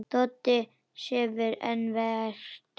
Doddi sefur enn vært.